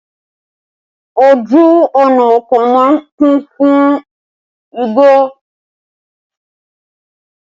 Ojú ọ̀nà oko máa ń kún fún igbó